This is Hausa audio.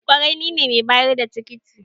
kwarai nine mai bayar da tikiti